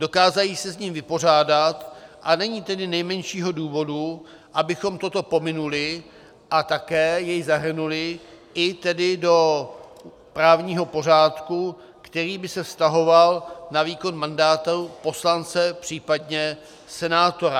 Dokážou se s ním vypořádat, a není tedy nejmenšího důvodu, abychom toto pominuli a také jej zahrnuli i tedy do právního pořádku, který by se vztahoval na výkon mandátu poslance, případně senátora.